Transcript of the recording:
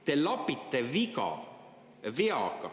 Te lapite viga veaga.